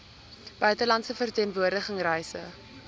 buitelandse verteenwoordiging reise